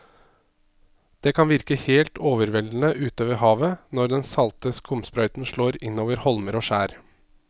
Det kan virke helt overveldende ute ved havet når den salte skumsprøyten slår innover holmer og skjær.